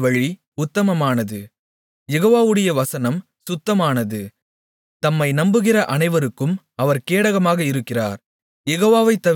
தேவனுடைய வழி உத்தமமானது யெகோவாவுடைய வசனம் சுத்தமானது தம்மை நம்புகிற அனைவருக்கும் அவர் கேடகமாக இருக்கிறார்